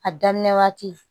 A daminɛ waati